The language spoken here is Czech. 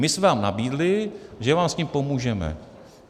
My jsme vám nabídli, že vám s tím pomůžeme.